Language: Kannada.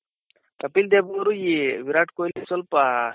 ಕಪಿಲ್ ದೇವ್ ಅವ್ರು ಈ ವಿರಾಟ್ ಕೊಹ್ಲಿ ಸ್ವಲ್ಪ